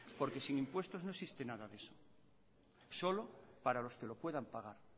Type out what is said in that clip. porque sin impuestos no existe nada de eso solo para los que lo puedan pagar